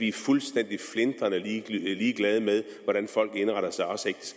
er fuldstændig flintrende ligeglade med hvordan folk indretter sig